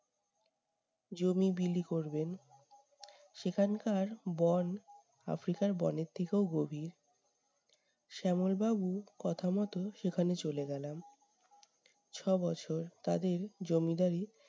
জমি বিলি করবেন। সেখানকার বন, আফ্রিকার বনের থেকেও গভীর। শ্যামল বাবুর কথা মতো সেখানে চলে গেলাম। ছবছর তাদের জমিদারি